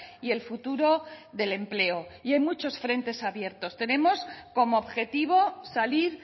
y el futuro del empleo y hay muchos frentes abiertos tenemos como objetivo salir